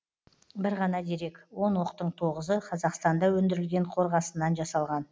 бір ғана дерек он оқтың тоғызы қазақстанда өндірілген қорғасыннан жасалған